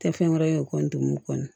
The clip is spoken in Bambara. Tɛ fɛn wɛrɛ ye o kɔni